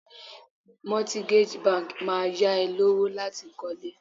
Mortgage banks Máa yá ẹ lówó láti kọ́ lé.